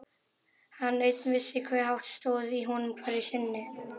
Hann einn vissi hve hátt stóð í honum hverju sinni.